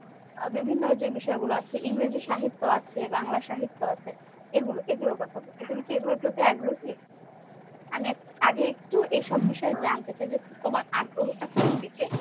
বিভিন্ন যে বিষয় গুলো আছে, ইংরেজি সাহিত্য আছে, বাংলা সাহিত্য আছে, এগুলো এগুলোর কথা বলছি। তুমি কি এগুলোর প্রতি আগ্রহী? আমি আগে একটু এইসব বিষয়ে জানতে চাই যে তোমার আগ্রহটা কোন দিকে?